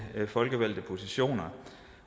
folkevalgte positioner